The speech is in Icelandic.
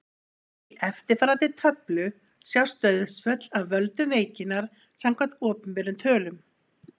Í eftirfarandi töflu sjást dauðsföll af völdum veikinnar samkvæmt opinberum tölum.